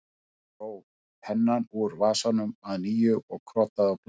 Hann dró pennann úr vasanum að nýju og krotaði á blaðið